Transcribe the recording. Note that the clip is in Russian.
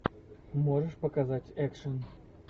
можешь показать экшен